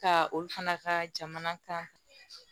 Ka olu fana ka jamana kan